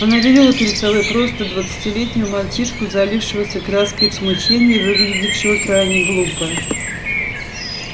она видела перед собой просто двадцатилетнего мальчишку заливавшегося краской от смущения и выглядевшего крайне глупо